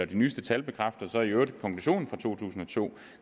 de nyeste tal bekræfter så i øvrigt konklusionen fra to tusind og to